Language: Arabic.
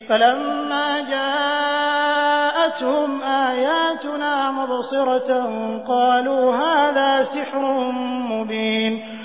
فَلَمَّا جَاءَتْهُمْ آيَاتُنَا مُبْصِرَةً قَالُوا هَٰذَا سِحْرٌ مُّبِينٌ